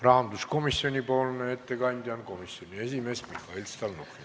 Rahanduskomisjoni ettekandja on komisjoni esimees Mihhail Stalnuhhin.